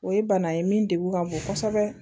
O ye bana ye min degun ka bon kosɛbɛ